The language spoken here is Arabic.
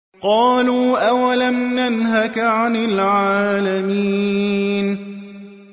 قَالُوا أَوَلَمْ نَنْهَكَ عَنِ الْعَالَمِينَ